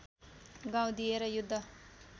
गाउँ दिएर युद्ध